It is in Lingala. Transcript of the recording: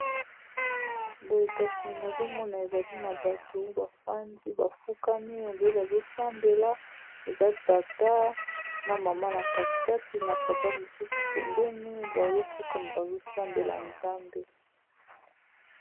boye kasi nazomona ezali na bato bafandi bafukami oyo nde bazosambela eza tata na mama na katikati na papa mosusu pembeni bazofuka bazosambela nzambe